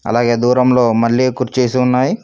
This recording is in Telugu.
అలాగే దూరంలో మళ్లీ కుర్చీస్ ఉన్నాయి.